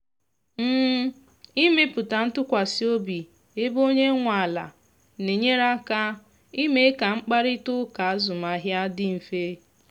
ịmepụta ntụkwasị obi ebe onye nwe ala na enyere aka ime ka mkparịta ụka azụmahịa dị mfe